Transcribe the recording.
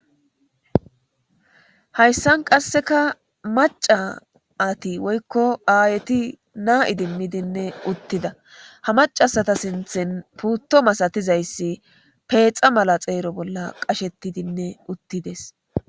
Haysan qaseka mac'ati woyko aayeti na idimidinne uttida ha mac'asata sinthan puuto masatizaysi petxa mala eqa xeera bolla qashetidi dees.